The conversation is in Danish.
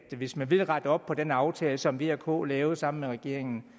hvis man vil rette op på den aftale som v og k lavede sammen med regeringen